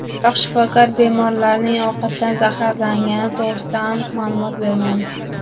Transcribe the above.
Biroq shifokor bemorlarning ovqatdan zaharlangani to‘g‘risida aniq ma’lumot bermadi.